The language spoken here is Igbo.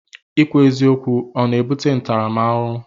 Ikwu eziokwu ọ na-ebute ntaramahụhụ?